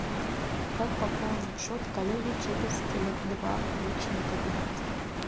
как пополнить счет коллеги через теле два личный кабинет